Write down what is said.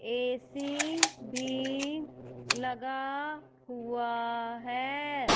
AC भी लगा हुआ है।